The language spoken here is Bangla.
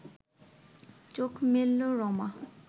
চোখ মেলল রমা